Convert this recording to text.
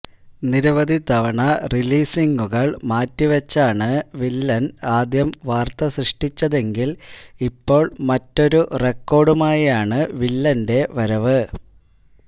നിരവധി തവണ റിലീസിംഗുകള് മാറ്റിവച്ചാണ് വില്ലന് ആദ്യം വാര്ത്ത സൃഷ്ടിച്ചതെങ്കില് ഇപ്പോള് മറ്റൊരു റിക്കാര്ഡുമായാണ് വില്ലന്റെ വരവ്